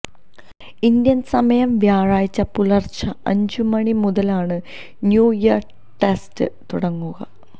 Indian സമയം വ്യാഴാഴ്ച്ച പുലർച്ചെ അഞ്ചു മണി മുതലാണ് ന്യൂ ഇയർ ടെസ്റ്റ് തുടങ്ങുക